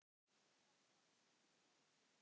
Þetta var merkur áfangi.